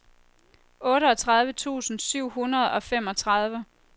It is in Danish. otteogtredive tusind syv hundrede og femogtredive